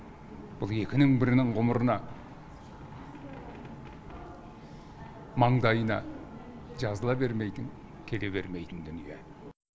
бұл екінің бірінің ғұмырына маңдайына жазыла бермейтін келе бермейтін дүние